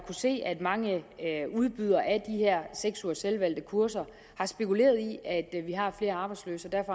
se at mange udbydere af de her seks ugers selvvalgte kurser har spekuleret i at vi har flere arbejdsløse